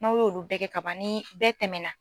N' a y'olu bɛɛ kɛ kaban, ni bɛɛ tɛmɛna.